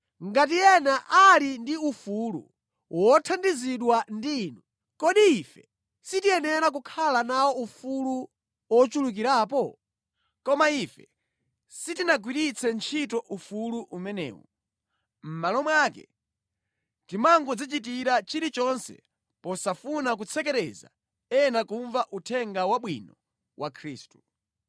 Ngati ena ali ndi ufulu wothandizidwa ndi inu, kodi ife sitikuyenera kukhala nawo ufulu ochulukirapo? Koma ife sitinagwiritse ntchito ufulu umenewu. Mʼmalo mwake timangodzichitira chilichonse posafuna kutsekereza ena kumva Uthenga Wabwino wa Khristu.